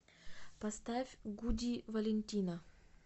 поставь гуди валентина